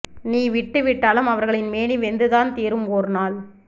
நீ விட்டு விட்டாலும் அவர்களின் மேனி வெந்துதான் தீரும் ஓர் நாள்